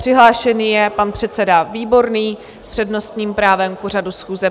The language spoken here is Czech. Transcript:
Přihlášený je pan předseda Výborný s přednostním právem k pořadu schůze.